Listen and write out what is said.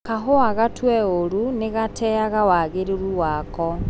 Kahũa gatue ũru mĩgateaga wagĩrĩru wako.